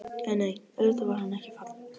En nei, auðvitað var hann ekki fallinn.